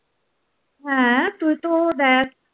হ্যাঁ, তুই তো দেখ